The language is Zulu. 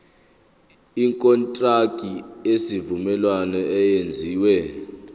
ikontraki yesivumelwano eyenziwe